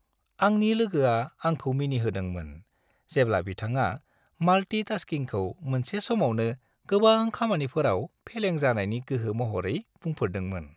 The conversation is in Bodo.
आंनि लोगोआ आंखौ मिनिहोदोंमोन जेब्ला बिथाङा माल्टि-टास्किंखौ मोनसे समावनो गोबां खामानिफोराव फेलें जानायनि गोहो महरै बुंफोरदोंमोन।